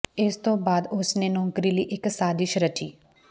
ਇਸ ਤੋਂ ਬਾਅਦ ਉਸ ਨੇ ਨੌਕਰੀ ਲਈ ਇਕ ਸਾਜ਼ਿਸ਼ ਰਚੀ